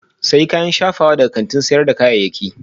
Sayi kayan shafawa daga kantin sayar da kayayyaki